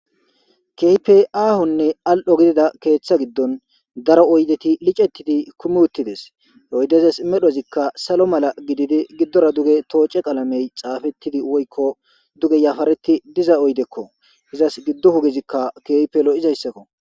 Keype aahunne al'ho gidida keeththa giddon daro oydeti licettidi kumiuttides oydezes medhozikka salo mala gididi giddora duge tooce qalamey xaafettidi woykko duge yafareti diza oydekko izas giddo hugizikka keypelo izayssakko.